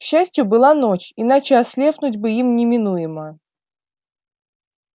к счастью была ночь иначе ослепнуть бы им неминуемо